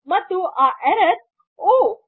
ಮತ್ತೆ ಆ ಎರ್ರರ್ ಬಂದು ಒಹ್